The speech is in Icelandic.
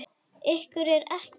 Ykkur er ekki alvara!